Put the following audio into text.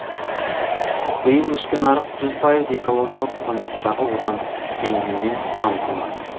биыл ішкі нарық жүз пайыз экологиялық стандарттағы отандық бензинмен қамтылмақ